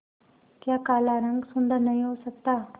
क्या काला रंग सुंदर नहीं हो सकता